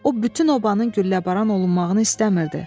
O bütün obanın gülləbaran olunmağını istəmirdi.